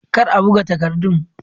Kar a buga takardun.